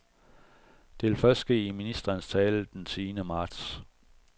Det vil først ske i ministerens tale den tiende marts.